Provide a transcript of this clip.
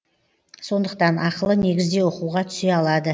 сондықтан ақылы негізде оқуға түсе алады